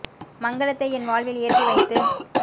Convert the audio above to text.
மங்கலத்தை என்வாழ்வில் ஏற்றி வைத்து